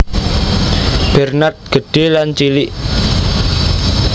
Bernard Gedhé lan Cilik